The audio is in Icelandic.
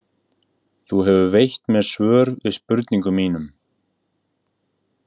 Þú hefur veitt mér svör við spurningum mínum.